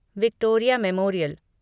Victoria memorial